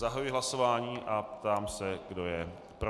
Zahajuji hlasování a ptám se, kdo je pro.